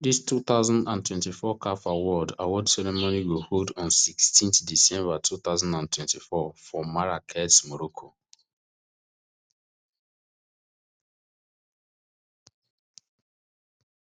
dis two thousand and twenty-four caf award award ceremony go hold on sixteen december two thousand and thirty-four for marrakech morocco